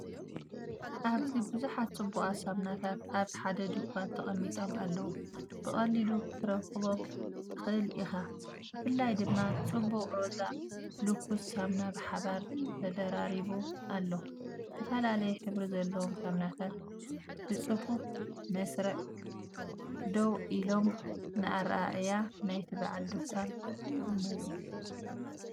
ኣብዚ ብዙሓት ጽቡቓት ሳሙናታት ኣብ ሓደ ድኳን ተቐሚጦም ኣለዉ፣ ብቐሊሉ ክትረኽቦም ትኽእል ኢኻ። ብፍላይ ድማ ጽቡቕ ሮዛ ሉክስ ሳሙና ብሓባር ተደራሪቡ ኣሎ። ዝተፈላለየ ሕብሪ ዘለዎም ሳሙናታት ብጽፉፍ መስርዕ ደው ኢሎም፡ ንኣረኣእያ ናይቲ በዓል ድኳን ይመልኡ።